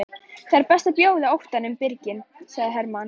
Það er best að bjóða óttanum birginn, sagði Hermann.